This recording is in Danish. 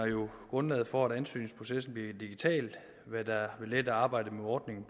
grundlaget for at ansøgningsprocessen bliver digital hvad der vil lette arbejdet med ordningen